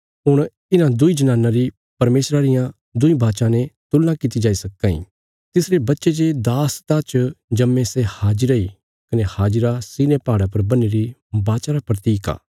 हुण इन्हां दुईं जनानां री परमेशरा रियां दुईं वाचां ने तुलना कित्ती जाई सक्कां इ तिसरे बच्चे जे दासता च जम्मे सै हाजिरा इ कने हाजिरा सिनै पहाड़ा पर बन्हीरी वाचा रा प्रतीक इ